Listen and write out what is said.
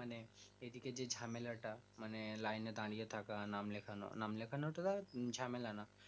মানে এইদিকে যে ঝামেলাটা মানে লাইনে দাঁড়িয়ে থাকার নাম লিখানোনাম লেখানো তো তাই ঝামেলা না